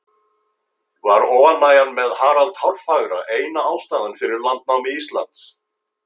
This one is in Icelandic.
Var óánægjan með Harald hárfagra eina ástæðan fyrir landnámi Íslands?